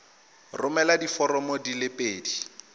romela diforomo di le pedi